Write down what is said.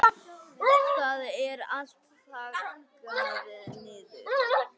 Það er allt þaggað niður.